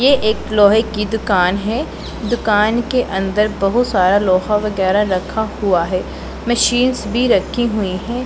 ये एक लोहे की दुकान है दुकान के अंदर बहुत सारा लोहा वगैरह रखा हुआ है मशीनस भी रखी हुई हैं।